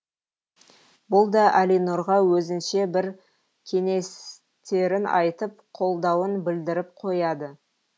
бұл да әлинұрға өзінше бір кеңестерін айтып қолдауын білдіріп қояды